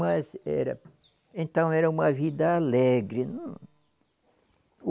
Mas era, então era uma vida alegre. Eu não